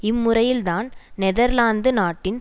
இம்முறையில்தான் Netherlands நாட்டில்